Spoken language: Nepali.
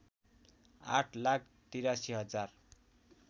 आठ लाख ८३ हजार